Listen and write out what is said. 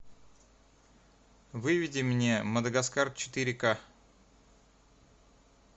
выведи мне мадагаскар четыре ка